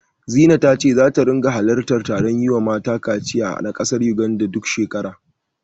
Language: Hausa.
Zina ta ce zata ringa halartar taron yiwa mata kaciya na ƙasar Yuganda, duk shekara.